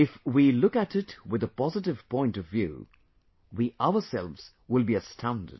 If we look at it with a positive point of view, we ourselves will be astounded